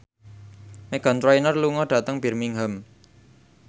Meghan Trainor lunga dhateng Birmingham